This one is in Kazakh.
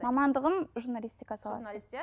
мамандығым журналистика саласы журналист иә